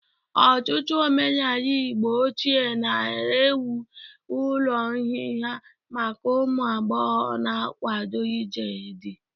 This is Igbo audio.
Ọtụtụ omenala Igbo ochie nara enwe ụlọ nhịha maka ụmụ agbọghọ na-akwado ije dị.